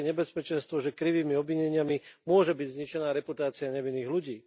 Hrozí nebezpečenstvo, že krivými obvineniami môže byť zničená reputácia nevinných ľudí.